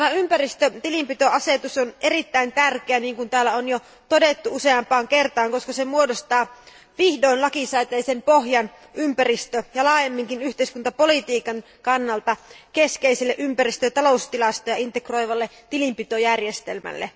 Tämä ympäristötilinpitoasetus on erittäin tärkeä, niin kuin täällä on jo todettu useampaan kertaan, koska se muodostaa vihdoin lakisääteisen pohjan ympäristöpolitiikan ja laajemminkin yhteiskuntapolitiikan kannalta keskeisille ympäristö ja taloustilastoja integroivalle tilinpitojärjestelmälle.